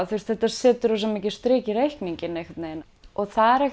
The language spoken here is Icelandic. þetta setur rosa mikið strik í reikninginn og það